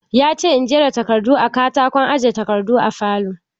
Yace in jera takardun a katakon aje takardun falo.